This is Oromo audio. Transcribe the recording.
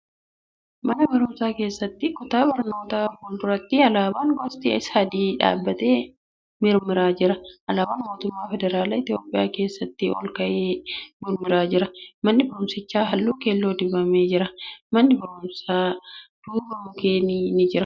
Mana barumsaa keessatti kutaa barnootaa fuulduratti alaabaan gosti sadii dhaabbatee mirmiraa jira. Alaabaan Mootummaa Federaalaa Itiyoophiyaa keessaa ol ka'ee mirmiraa jira. Manni barumsichaa halluu keelloo dibamee jira. Mana barumsaan duuba mukkeen ni jiru.